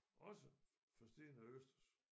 Også forstenet østers